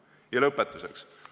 Ja lõpetuseks.